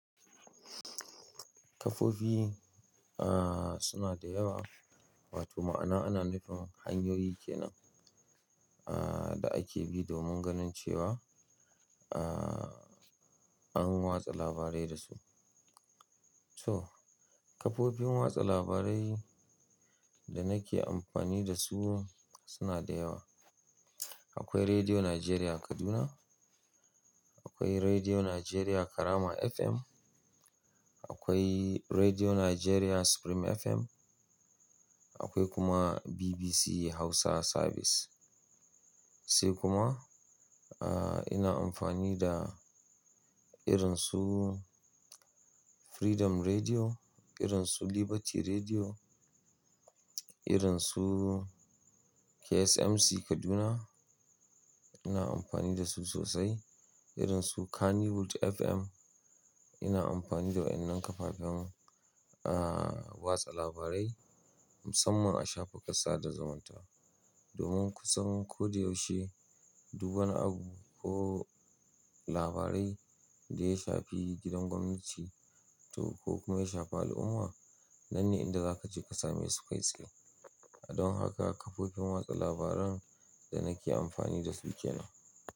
Kafofi, ah, suna da yawa, wato ma'ana ana nufin hanyoyi kenan, ah, da ake bi domin ganin cewa, ah, an watsa labarai da su. So kafofin watsa labarai da nake amfani da su suna da yawa. Akwai Rediyo Najeriya Kaduna, akwai Rediyo Najeriya Karama FM, akwai Rediyo Najeriya Supreme FM, akwai kuma BBC Hausa Service. Sai kuma, h, ina amfani da irin su Freedom Rediyo, irin su Liberty Rediyo, irin su KSMC Kaduna. Ina amfani da su sosai. Irin su Kannywood FM. Ina amfani da waɗannan kafafen, uh, watsa labarai musamman a shafuka sada zumunta. Domin ku san ko da yaushe duk wani abu ko labarai da ya shafi gidan gwamnati ko kuma ya shafi al'umma, nan ne inda za ka je ka same su kai tsaye. Don haka kafofin watsa labaran da nake amfani da su kenan.